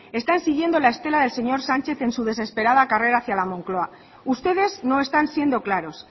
están siguiendo la estela del señor sánchez en su desesperada carrera hacia la moncloa ustedes no están siendo claros